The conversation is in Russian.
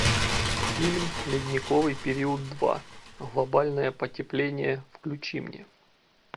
фильм ледниковый период два глобальное потепление включи мне